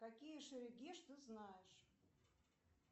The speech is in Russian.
какие шерегеш ты знаешь